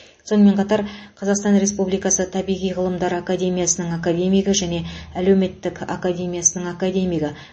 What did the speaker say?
сонымен қатар қазасқтан республикасы табиғи ғылымдар академиясының академигі және әлеуметтік академиясының академигі